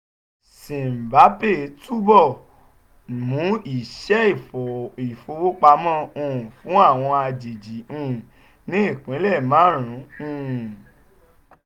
simbapay túbọ̀ mú iṣẹ́ ìfowópamọ́ um fún àwọn àjèjì um sí ìpínlẹ̀ márùn ún um